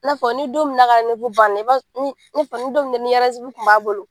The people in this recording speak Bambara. I n'a fɔ ni don min na a ka banna i b'a ni ni n'a fɔ don min na ni tun b'a bolo.